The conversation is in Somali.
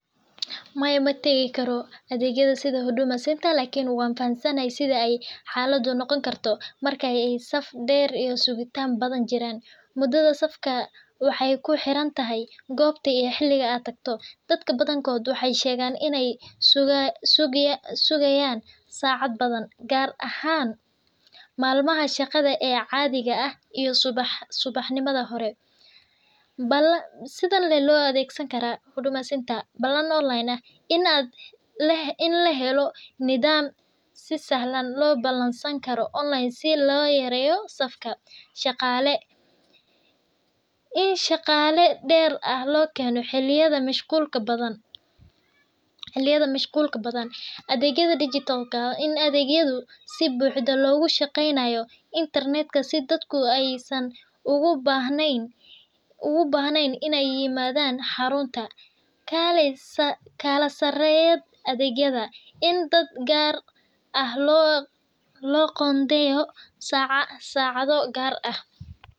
Maya mategi karo adeegyada sida huduma center lakin wan fahansanahay sida ay xaladaa noqoni karto markay saf dheer iyo sugitan badan jiran, mudada safka waxay kuxirantahay gobta iyo xiliga ad tagto ,dadka badankod waxay sheegan inay sugayaan saacad badan, gaar ahan malmaha shaqada ee caadiga iyo subax nimada hore sidan lee loo adeegsani karaa huduma center balan online ah, in lahelo nidam si sahlan loo balan San karo online si loo yareyo safka, shaqaale, in shaqaale dheer ah loo keeno xiliyada mashqulka badan, adeegyada dijitalka ah, in adeegyadu si buxdo logu shaqeynayo intarnet oo aysan ogu bahneyn inay yimadan xarunta, kala saareyad adeegyada in dad gaar ah loo qondeeyo saacada gaar ah